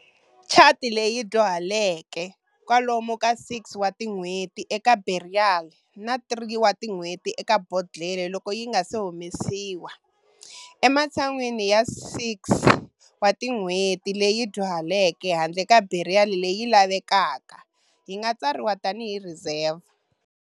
Chianti leyi dyuhaleke, kwalomu ka 6 wa tin'hweti eka barrel na 3 tin'hweti eka bodlhela loko yinga se humesiwa, ematshan'wini ya 6 wa tin'hweti leyi dyuhaleke handle ka barrel leyi lavekaka, yinga tsariwa tani hi Riserva.